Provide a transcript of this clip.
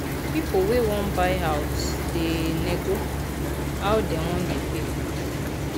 pipu wey wan buy house da nego how dem go da pay